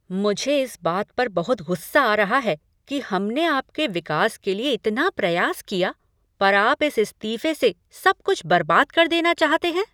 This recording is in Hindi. मुझे इस बात पर बहुत गुस्सा आ रहा है कि हमने आपके विकास के लिए इतना प्रयास किया पर आप इस इस्तीफे से सब कुछ बर्बाद कर देना चाहते हैं।